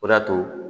O de y'a to